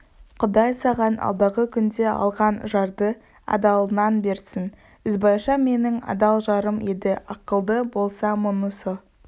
құдай саған алдағы күнде алған жарды адалынан берсін ізбайша менің адал жарым еді ақылы болса мұнысы